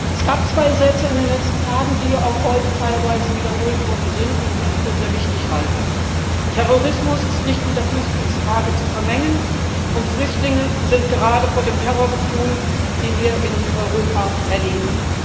Es gab zwei Sätze in den letzten Tagen, die auch heute teilweise wiederholt worden sind und die ich für sehr wichtig halte Terrorismus ist nicht mit der Flüchtlingsfrage zu vermengen Und Flüchtlinge sind gerade vor dem Terror geflohen, den wir in Europa erleben.